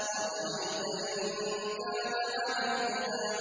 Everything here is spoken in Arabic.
أَرَأَيْتَ إِن كَانَ عَلَى الْهُدَىٰ